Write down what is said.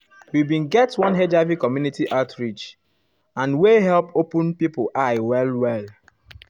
we bin get one hiv community outreach and wey um help open pipo eyes well well.